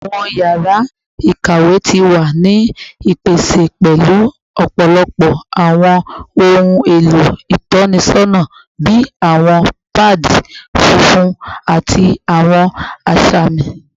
Awọn yara ikawe ti wa ni ipese pẹlu ọpọlọpọ awọn ohun elo itọnisọna bi awọn paadi funfun ati awọn asami